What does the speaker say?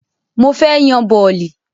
Mo fẹ́ yan bọ̀lì